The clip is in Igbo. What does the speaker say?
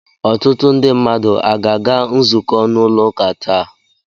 Ọtụtụ ndị mmadu aga-aga nzukọ n'ụlọ uka taa?